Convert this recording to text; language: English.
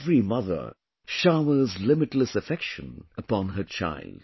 Every mother showers limitless affection upon her child